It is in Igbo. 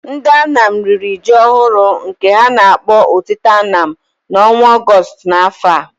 Ndị Anam riri ji ọhụrụ, nke ha na-akpọ Otite Anam, n’ọnwa Ọgọstụ n’afọ a.